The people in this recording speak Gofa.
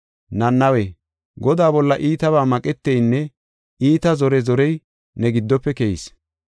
Nanawe, Godaa bolla iitabaa maqeteynne iita zore zorey ne giddofe keyis.